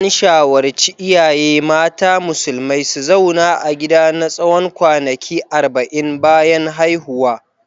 An shawarci iyaye mata musulmai su zauna a gida na tsawon kwanaki arba'in bayan haihuwa.